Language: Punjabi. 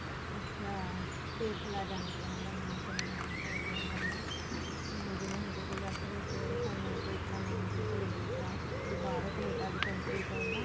ਅੱਛਾ ਪੇਸਲਾ ਜਾਣੀ ਕੀ ਇਹਨਾ ਦਾ ਨਾਮ ਚਲੋਂ ਆ ਜਿਵੇਂ ਹੁਣ ਤੁਸੀਂ ਦੱਸ ਰਹੇ ਸੀ ਸਾਨੂੰ ਕ੍ਰਿਸ਼ਨਾ ਨਾਮ ਦੀ ਇੱਕ ladies ਦਾ ਵੀ ਬਾਹਰੋ Canada ਦੀ country ਤੋਂ ਨਾ